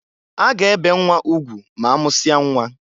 A ga-ebe nnwa ugwu ma amụsia nnwa.